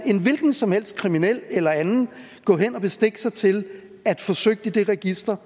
en hvilken som helst kriminel eller anden gå hen og bestikke sig til at få søgt i det register